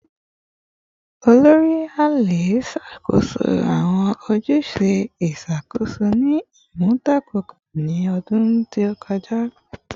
Olori / Ale ṣakoso awọn ojuse iṣakoso ni imunadoko ni ọdun to kọja